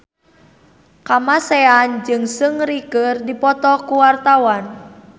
Kamasean jeung Seungri keur dipoto ku wartawan